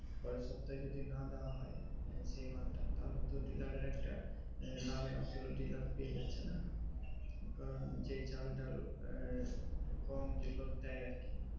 পরের সপ্তাহে যদি না দেওয়া হয় সেই মাল তা তাহলে তো ডিলারের একটা লাভের অংশ তা ডিলার পেয়ে যাচ্ছে না কারণ যেই চাল ডাল আঃ গম যেটা দেয় আর কি